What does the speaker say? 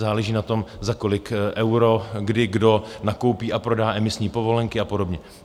Záleží na tom, za kolik eur, kdy, kdo nakoupí a prodá emisní povolenky a podobně.